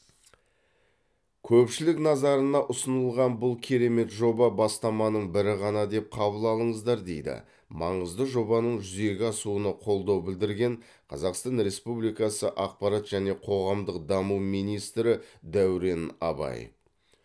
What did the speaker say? көпшілік назарына ұсынылған бұл керемет жоба бастаманың бірі ғана деп қабыл алыңыздар дейді маңызды жобаның жүзеге асуына қолдау білдірген қазақстан республикасы ақпарат және қоғамдық даму министрі дәурен абаев